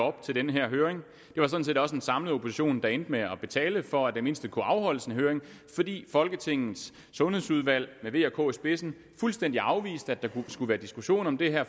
op til den her høring det var sådan set også en samlet opposition der endte med at betale for at det mindste kunne afholdes en høring fordi folketingets sundhedsudvalg med v og k i spidsen fuldstændig afviste at der skulle være diskussion om det her